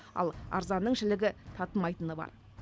ал арзанның жілігі татымайтыны бар